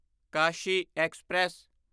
Kashi express